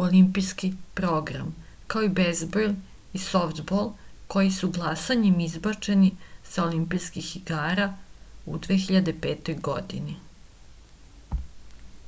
u olimpijski program kao i bejzbol i softbol koji su glasanjem izbačeni sa olimpijskih igara u 2005. godini